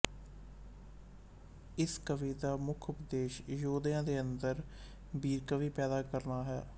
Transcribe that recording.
ਇਸ ਕਾਵਿ ਦਾ ਮੁੱਖ ਉਦੇਸ਼ ਯੋਧਿਆਂ ਦੇ ਅੰਦਰ ਬੀਰਕਾਵਿ ਪੈਦਾ ਕਰਨਾ ਹੈ